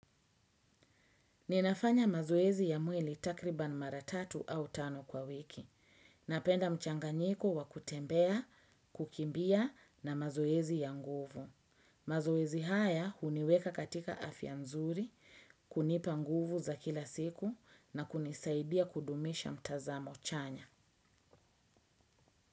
Ninafanya mazoezi ya mwili takriban mara tatu au tano kwa wiki. Napenda mchanganyiko wakutembea, kukimbia na mazoezi ya nguvu. Mazoezi haya huniweka katika afya nzuri, kunipa nguvu za kila siku na kunisaidia kudumisha mtazamo chanya.